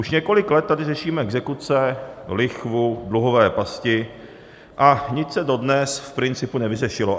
Už několik let tady řešíme exekuce, lichvu, dluhové pasti, a nic se dodnes v principu nevyřešilo.